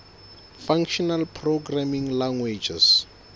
functional programming languages